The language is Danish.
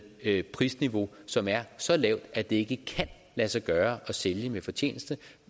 et prisniveau som er så lavt at det ikke kan lade sig gøre at sælge med fortjeneste